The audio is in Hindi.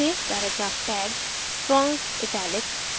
paragraph tag strong italic